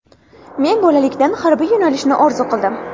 Men bolalikdan harbiy bo‘lishni orzu qildim.